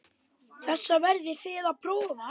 Þessar verðið þið að prófa.